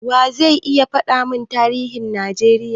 Wa ze iya faɗa mun tarihin Najeriya?